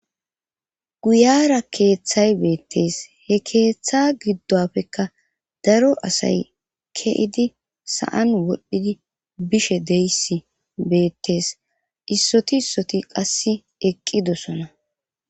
Guyara keeththay beettes he keeththa giddoppekka daro asay keidi sa7an wodhdhidi bishe deyissi beettees issoti issoti qass eqqidosona.